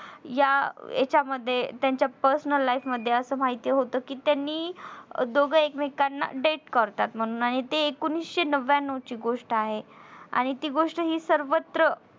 या याच्यामध्ये त्यांच्या personal life मध्ये असं माहिती होत कि त्यांनी दोघे एकमेकांना date करतात म्हणून आणि ते एकोणीशे नव्यान्नव ची गोष्ट आहे. आणि ती गोष्ट हि सर्वत्र